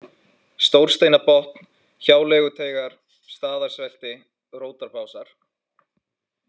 Stórsteinabotn, Hjáleiguteigar, Staðarsvelti, Rótarbásar